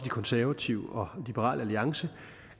konservative og liberal alliance